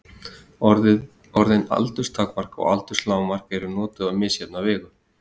Orðin aldurstakmark og aldurslágmark eru notuð á misjafna vegu.